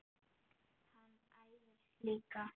Hann æfir líka.